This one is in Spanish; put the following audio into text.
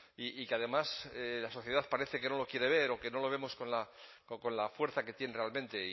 y que además la sociedad parece que no lo quiere ver o que no lo vemos con la fuerza que tiene realmente